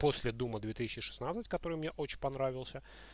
после дума две тысячи шестнадцать который мне очень понравился